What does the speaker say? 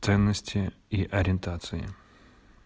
ценности и ориентации